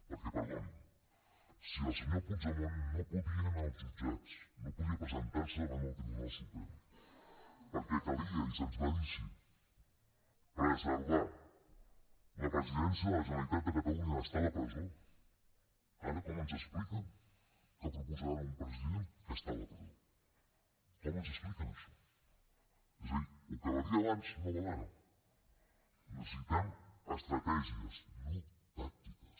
perquè perdonin si el senyor puigdemont no podia anar als jutjats no podia presentar se davant el tribunal suprem perquè calia i se’ns va dir així preservar la presidència de la generalitat de catalunya d’estar a la presó ara com ens expliquen que proposaran un president que està a la presó com ens expliquen això és a dir el que valia abans no val ara necessitem estratègies no tàctiques